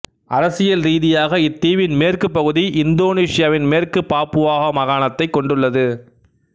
அரசியல் ரீதியாக இத்தீவின் மேற்குப் பகுதி இந்தோனேசியாவின் மேற்கு பாப்புவா மாகாணத்தைக் கொண்டுள்ளது